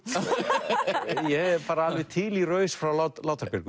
ég er bara alveg til í raus frá Látra Björgu